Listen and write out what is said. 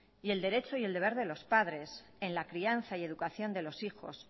y el derecho y el deber de los padres en la crianza y educación de los hijos